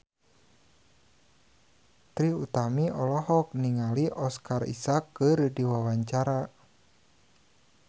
Trie Utami olohok ningali Oscar Isaac keur diwawancara